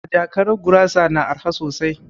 A jakara gurasa na araha sosai